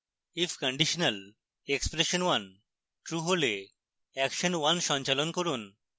if conditionalexpression1 true হলে action1 সঞ্চালন করুন